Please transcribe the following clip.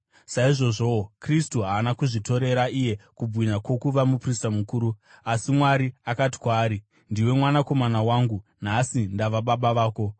Saizvozvowo Kristu haana kuzvitorera iye kubwinya kwokuva muprista mukuru. Asi Mwari akati kwaari, “Ndiwe Mwanakomana wangu; nhasi ndava baba vako.”